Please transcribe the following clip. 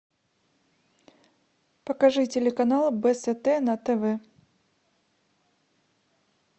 покажи телеканал бст на тв